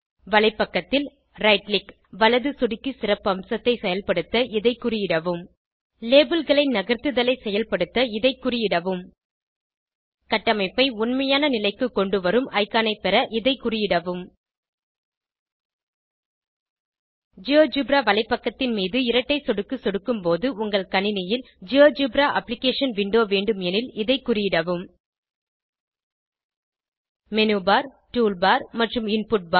வலைப்பக்கத்தில் right click வலது சொடிக்கி சிறப்பம்சத்தை செயல்படுத்த இதை குறியிடவும் labelகளை நகர்த்துதலை செயல்படுத்த இதை குறியிடவும் கட்டமைப்பை உண்மையான நிலைக்கு கொண்டுவரும் இக்கான் ஐ பெற இதை குறியிடவும் ஜியோஜெப்ரா வலைப்பக்கத்தின் மீது இரட்டை சொடுக்கு சொடுக்கும் போது உங்கள் கணினியில் ஜியோஜெப்ரா அப்ளிகேஷன் விண்டோ வேண்டும் எனில் இதை குறியிடவும் மேனு பார் டூல் பார் மற்றும் இன்புட் பார்